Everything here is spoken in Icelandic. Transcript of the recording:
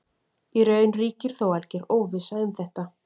Í raun ríkir þó alger óvissa um þetta.